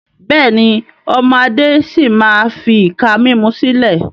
Bẹ́ẹ̀ni, ọmọ Adé si maa fi ìka mímú sílẹ̀